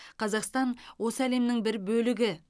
қазақстан осы әлемнің бір бөлігі